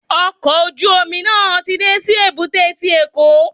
Ọkọ̀ ojú omi náà ti dé sí èbúté ti Èkó.